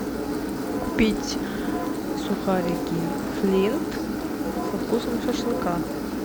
купить сухарики флинт со вкусом шашлыка